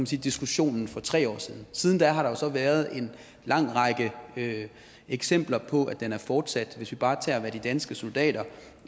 så diskussionen for tre år siden siden da har der jo så været en lang række eksempler på at den er fortsat hvis vi bare tager hvad de danske soldater